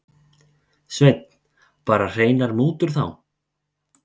Sveinn: Bara hreinar mútur þá?